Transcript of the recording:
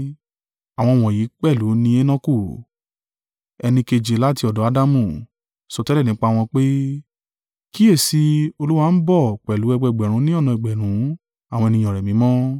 Àwọn wọ̀nyí pẹ̀lú ni Enoku, ẹni keje láti ọ̀dọ̀ Adamu, sọtẹ́lẹ̀ nípa wọn pé, “Kíyèsi i, Olúwa ń bọ̀ pẹ̀lú ẹgbẹẹgbẹ̀rún ní ọ̀nà ẹgbẹ̀rún àwọn ènìyàn rẹ̀ mímọ́,